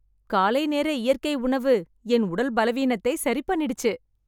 காலை நேர இயற்கை உணவு என் உடல் பலவீனத்தை சரிபண்ணிடுச்சு.